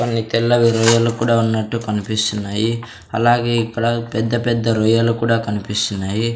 కొన్ని తెల్లవి రొయ్యలు కూడా ఉన్నట్టు కనిపిస్తున్నాయి అలాగే ఇక్కడ పెద్ద పెద్ద రొయ్యలు కూడా కనిపిస్తున్నాయి.